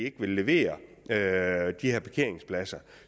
ikke vil levere de her parkeringspladser